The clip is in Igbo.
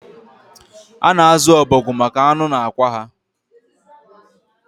A na-azu ọbọgwụ maka anụ na akwa ha